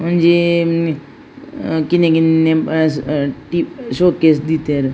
ಒಂಜೀ ಹ್ಮ್ ಕಿನ್ನ ಕಿನ್ನ ಹ್ಂ ಟಿ ಅ ಶೋಕೇಸ್ ದೀತೆರ್.